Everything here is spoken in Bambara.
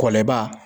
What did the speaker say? Kɔlɔnba